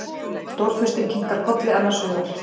Stórfurstinn kinkar kolli annars hugar.